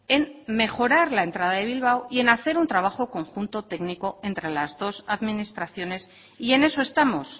en mejorar la entrada de bilbao y en hacer un trabajo conjunto técnico entre las dos administraciones y en eso estamos